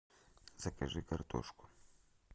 закажи картошку